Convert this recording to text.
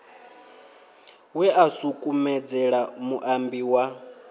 we a sukumedzela muambi wa